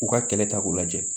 U ka kɛlɛ ta k'u lajɛ